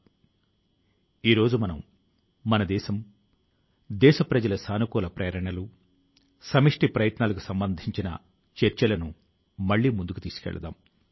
కొత్త సంవత్సరం లో ప్రతి వ్యక్తి ప్రతి సంస్థ రాబోయే ఏడాది లో ఏదైనా మరింత మెరుగ్గా చేయాలని ఉత్తమం గా మారాలని సంకల్పం తీసుకోవడం జరుగుతుంది